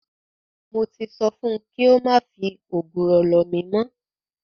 Mo ti sọ fun kí ó má fi ògùrọ̀ lọ̀ mí mọ́.